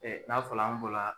Ɛ n'a fɔla an bɔla.